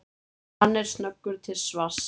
Hann er snöggur til svars.